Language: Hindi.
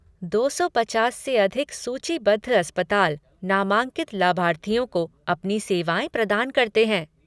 दो सौ पचास से अधिक सूचीबद्ध अस्पताल नामांकित लाभार्थियों को अपनी सेवाएँ प्रदान करते हैं।